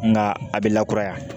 Nka a bɛ lakuraya